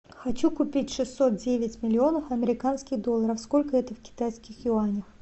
хочу купить шестьсот девять миллионов американских долларов сколько это в китайских юанях